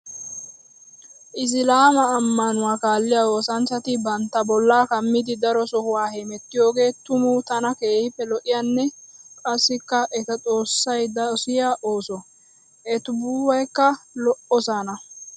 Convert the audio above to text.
Issilaama amanuwaa kaalliya woossanchchatti bantta bolla kammiddi daro sohuwa hemettiyooge tuma tana keehippe lo'iyaane qassikka etta xoosay dosiyo ooso. Ettibubbaykka lo'ossonna.